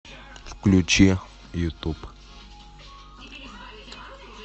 включи ютуб